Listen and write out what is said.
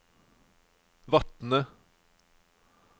Vatne